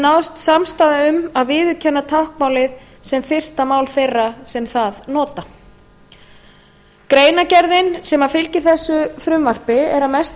náðst samstaða um að viðurkenna táknmálið sem fyrsta mál þeirra sem það nota greinargerðin sem fylgir þessu frumvarpi er að